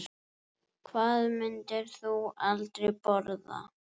Hvað myndir þú aldrei borða?